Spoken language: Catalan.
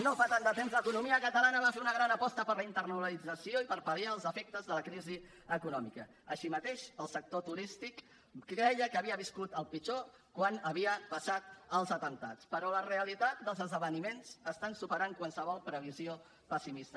no fa tant de temps l’economia catalana va fer una gran aposta per la internacionalització i per pal·liar els efectes de la crisi econòmica així mateix el sector turístic creia que havia viscut el pitjor quan havien passat els atemptats però la realitat dels esdeveniments està superant qualsevol previsió pessimista